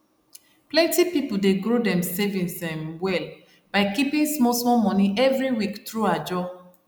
plenty people dey grow dem savings um well by keeping small small money every week through ajo